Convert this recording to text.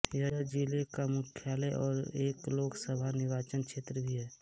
यह ज़िले का मुख्यालय और एक लोकसभा निर्वाचनक्षेत्र भी है